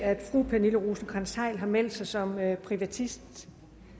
at fru pernille rosenkrantz theil har meldt sig som privatist